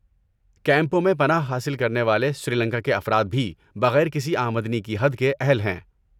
کیمپوں میں پناہ حاصل کرنے والے سری لنکا کے افراد بھی بغیر کسی آمدنی کی حد کے اہل ہیں۔